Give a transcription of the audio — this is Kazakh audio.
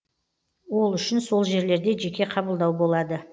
ол үшін сол жерлерде жеке қабылдау болады